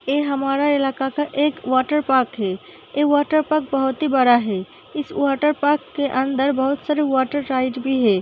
एह हमारा इलाका का एक वाटरपार्क है। ऐ वाटरपार्क बहोत ही बड़ा है। इस वाटरपार्क के अंदर बहुत सारे वाटर राइड भी है।